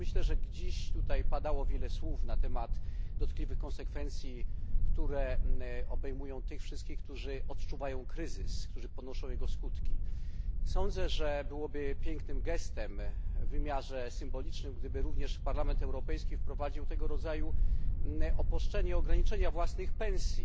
Padało dziś tutaj wiele słów na temat dotkliwych konsekwencji, które obejmują tych wszystkich, którzy odczuwają kryzys, którzy ponoszą jego skutki. Sądzę, że byłoby pięknym gestem w wymiarze symbolicznym, gdyby również Parlament Europejski wprowadził tego rodzaju obostrzenie ograniczenie własnych pensji,